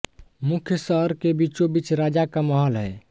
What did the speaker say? मुख्य शहर के बीचोंबीच राजा का महल है